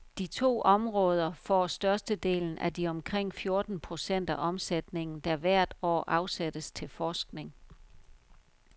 De to områder får størstedelen af de omkring fjorten procent af omsætningen, der hvert år afsættes til forskning.